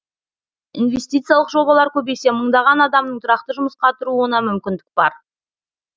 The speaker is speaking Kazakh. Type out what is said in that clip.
инвестициялық жобалар көбейсе мыңдаған адамның тұрақты жұмысқа тұруына мүмкіндік бар